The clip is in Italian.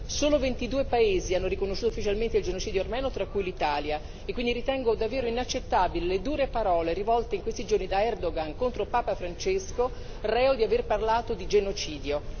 Solo 22 paesi hanno riconosciuto ufficialmente il genocidio armeno, tra cui l'Italia, e quindi ritengo davvero inaccettabile le dure parole rivolte in questi giorni da Erdogan contro Papa Francesco, reo di aver parlato di genocidio.